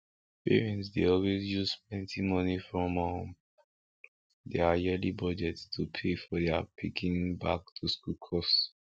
parents dey always use plenty money from um deir yearly budget to pay for their pikin back to school cost